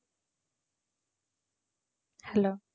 hello